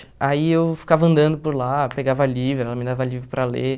Aí eu ficava andando por lá, pegava livro, ela me dava livro para ler.